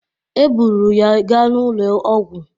E buru ya ga n'ụlọ ọgwụ